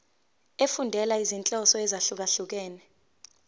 efundela izinhloso ezahlukehlukene